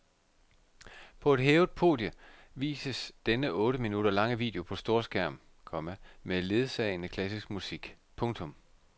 På et hævet podie vises denne otte minutter lange video på storskærm, komma med ledsagende klassisk musik. punktum